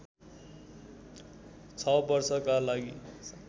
६ वर्षका लागि